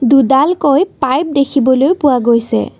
দুডালকৈ pipe দেখিবলৈ পোৱা গৈছে।